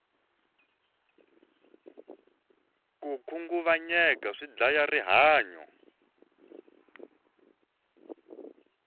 ko khunguvanyeka swi dyaya ri hanyu